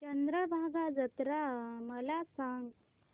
चंद्रभागा जत्रा मला सांग